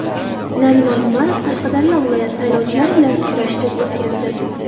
Narimon Umarov Qashqadaryo viloyati saylovchilari bilan uchrashuv o‘tkazdi.